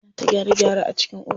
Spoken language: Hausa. Ana ta gyare gyare a cikin ofishin.